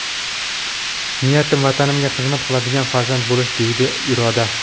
Niyatim Vatanimga xizmat qiladigan farzand bo‘lish”, deydi Iroda.